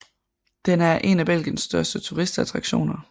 Den er en af Belgiens største turistattraktioner